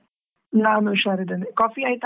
ನಾನು ಹುಷಾರಿದ್ದೇನೆ coffee ಆಯ್ತಾ?